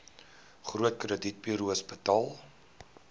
groot kredietburos betaal